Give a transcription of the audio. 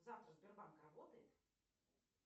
завтра сбербанк работает